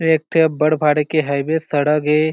एक ठी बड़ भारी के हाईवे सड़ग ए।